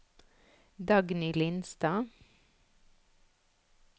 Dagny Lindstad